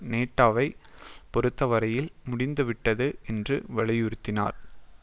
நேட்டோவைப் பொறுத்தவரையில் முடிந்துவிட்டது என்று வலியுறுத்தினார்